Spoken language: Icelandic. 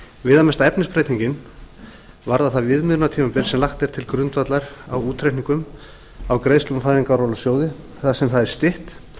viðamesta efnisbreyting frumvarpsins varðar það viðmiðunartímabil sem lagt er til grundvallar útreikningum á greiðslum úr fæðingarorlofssjóði þar sem það er stytt